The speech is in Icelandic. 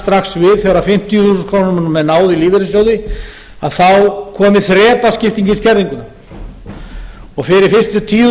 strax við þegar fimmtíu þúsund krónur er náð úr lífeyrissjóði þá komi þrepaskipting í skerðinguna og fyrir fyrst tíu